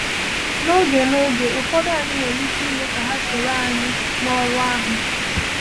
N’oge N’oge ụfọdụ, anyị nwere ike ime ka ha soro anyị n’ọrụ ahụ.